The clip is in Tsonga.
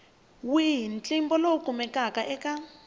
wihi ntlimbo lowu kumekaka eka